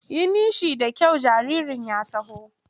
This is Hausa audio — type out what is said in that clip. Yi nishi da kyau jaririn ya taho!